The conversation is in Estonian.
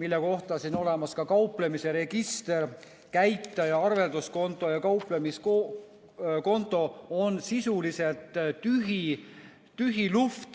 mille kohta siin on olemas kauplemise register, käitaja, arvelduskonto ja kauplemiskonto, on sisuliselt tühi, tühi luhvt.